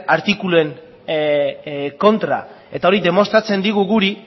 artikuluen kontra eta hori demostratzen digu guri